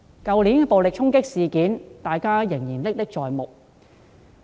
去年的暴力衝擊事件，大家仍然歷歷在目。